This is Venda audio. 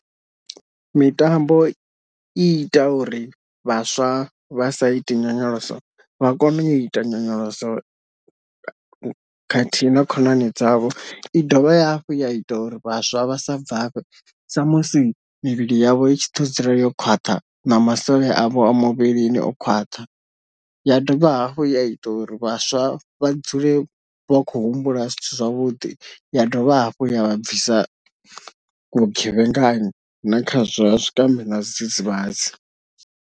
Mitambo i ita uri vhaswa vha sa iti nyonyoloso vha kone u ita nyonyoloso khathihi na khonani dzavho, i dovha hafhu ya ita uri vhaswa vha sa bvafhe sa musi mivhili yavho itshi ḓo dzula yo khwaṱha na masole avho a muvhilini o khwaṱha, ya dovha hafhu ya ita uri vhaswa vha dzule vha khou humbula zwithu zwavhuḓi, ya dovha hafhu ya vha bvisa vhugevhengani na kha zwa zwikambi na zwidzidzivhadzi.